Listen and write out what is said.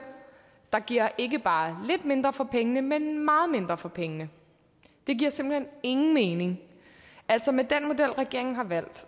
der giver ikke bare lidt mindre for pengene men meget mindre for pengene det giver simpelt hen ingen mening altså med den model regeringen har valgt